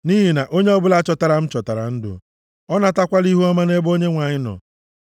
nʼihi na onye ọbụla chọtara m chọtara ndụ; ọ natakwala ihuọma nʼebe Onyenwe anyị nọ.